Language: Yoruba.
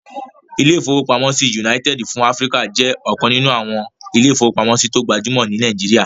Ilé-ìfowópamọ́sí United fún Áfríkà jẹ́ ọ̀kan nínú àwọn ilé-ìfowópamọ́sí tó gbajúmọ̀ ní Nàìjíríyà